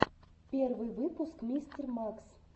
первый выпуск мистер макс